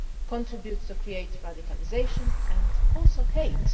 contributes to creating radicalisation and also hate.